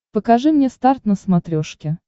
покажи мне старт на смотрешке